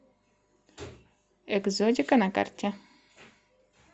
экзотика на карте